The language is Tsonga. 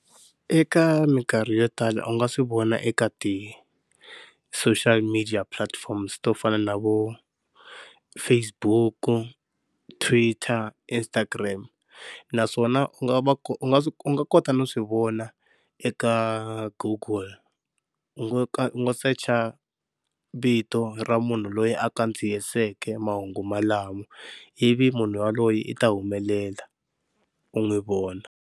Eka minkarhi yo tala u nga swi vona eka ti-social media platforms to fana na vo Facebook, Twitter, Instagram, naswona u nga u nga swi u nga kota no swi vona eka goggle u ngo search vito ra munhu loyi a kandziyisiweke mahungu malamo ivi munhu yaloye i ta humelela u n'wi vona.